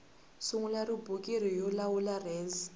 sungula rhubiriki yo lawula res